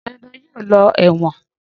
Dandan yóò lọ ẹ̀wọ̀n.